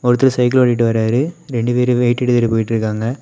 ஒருத்தர் சைக்கிள் ஓட்டிட்டு வராரு ரெண்டு பேரு வெயிட் எடுத்துட்டு போயிட்டுருக்காங்க.